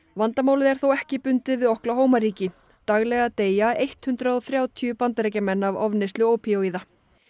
vandamálið er þó ekki bundið við Oklahoma ríki daglega deyja hundrað og þrjátíu Bandaríkjamenn af ofneyslu ópíóíða